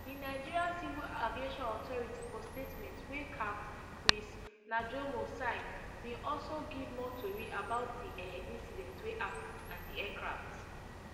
di nigeria civil aviation authority for statement wey capt chris najomo sign bin also give more tori about di um incident wey happun and di aircraft